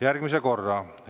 järgmise korra.